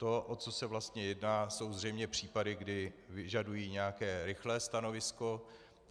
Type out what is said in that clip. To, o co se vlastně jedná, jsou zřejmě případy, kdy vyžadují nějaké rychlé stanovisko.